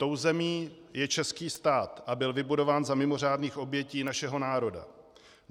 Tou zemí je český stát a byl vybudován za mimořádných obětí našeho národa.